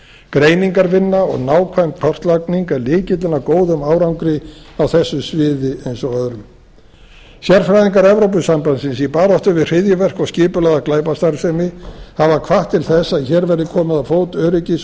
greiningarvinna og nákvæm kortlagning er lykillinn að góðum árangri á þessu sviði eins og öðrum sérfræðingar evrópusambandsins í baráttu við hryðjuverk og skipulagða glæpastarfsemi hafa hvatt til þess að hér verði komið á fót öryggis